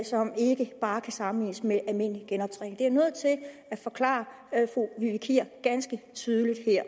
som ikke bare kan sammenlignes med almindelig genoptræning det er jeg nødt til at forklare fru vivi kier ganske tydeligt her